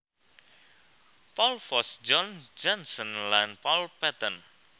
Paul Foss John Johnston lan Paul Patton